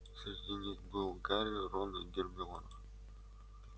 среди них был гарри рон и гермиона